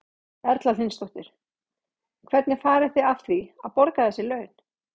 Erla Hlynsdóttir: Hvernig farið þið að því að, að borga þessi laun?